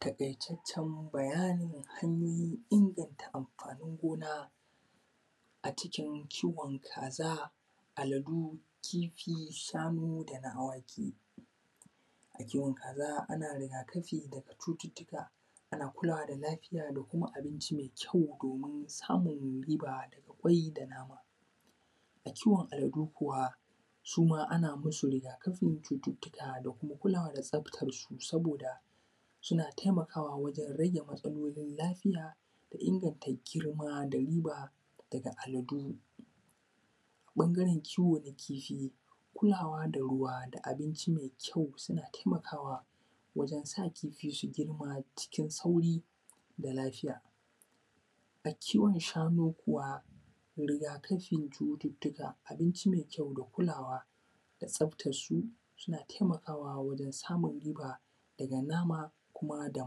Taƙaitaccen bayanin hanyoyin inganta amfaanin gona acikin kiwon kaaza, aladu, kifi, shanu da ɗan-awaki. A kiwon kaaza ana rigaakafi daga cututtuka ana kulawa da lafiya da kuma abinci mai kyau da doomin samun riba dubbai da nama. A kiwon aladu kuwa suma ana masu rigakafin cututtuka da kuma kulawa da tsaftansu sabooda suna taimakawa wajen rage matsalolin lafiya da inganta girma da riba daga aladu. Ɓangaren kiwo na kifi kulaawa da ruwa da abinci mai kyau na taimakawa wajen sa kifi su girma cikin sauri da lafiya. A kiwon shanu kuwa rigaakafin cututtuka abinci mai kyau da kulaawa da tsaftarsu suna taimakawa wajen samun riba daga nama kuma da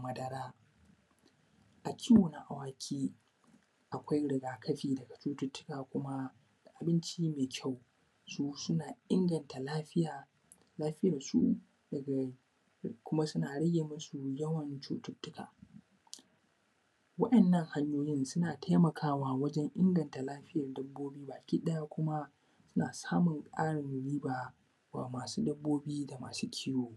madara. A kiwo na awaki akwai rigakafi daga cututtuka kuma da abinci mai kyau su suna inganta lafiya lafiyansu daga kuma suna rage masu yawan cututtuka. waɗannan hanyoyin suna taimakawa wajen inganta lafiyan dabbobi baki ɗaya kuma suna samun ƙarin riba wa maasu dabbobi da maasu kiiwo.